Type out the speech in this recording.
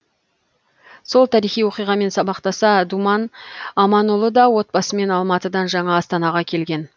сол тарихи оқиғамен сабақтаса думан аманұлы да отбасымен алматыдан жаңа астанаға келген